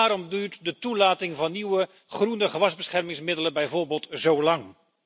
Waarom duurt de toelating van nieuwe, groene gewasbeschermingsmiddelen bijvoorbeeld zo lang?